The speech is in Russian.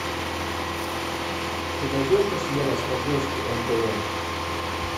ты найдешь у себя на смотрешке нтв